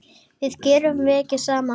Við gerum verkin saman.